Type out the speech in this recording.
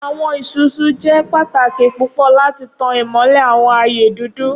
Awọn Isusu jẹ pataki pupọ lati tan imọlẹ awọn aaye dudu..